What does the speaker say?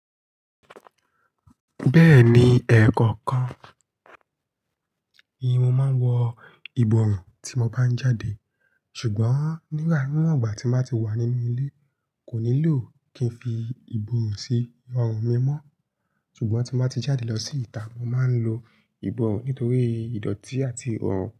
Bẹ́ẹ̀ni, ẹ̀ẹ̀kọ̀kan ni mo máa ń wọ ìborùn tí mo bá ń jáde. Ṣùgbọ́n nígbà mìíràn, ìgbà tí n ba ti wà nínú ilé, kò nílò kí n fi ìborùn sí orun mi mọ́. Ṣùgbọ́n tí n ba ti jáde lọ sí ìta, mo máa ń lo ìborùn nítorí ìdọ̀tí àti oorun.